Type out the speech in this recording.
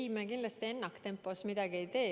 Ei, me kindlasti ennaktempos midagi ei tee.